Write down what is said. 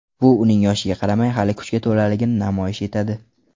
Bu uning, yoshiga qaramay, hali kuchga to‘laligini namoyish etadi.